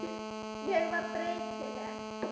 Ég var breytileg.